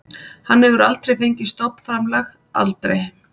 Hann hefur aldrei fengið stofnframlag, aldrei.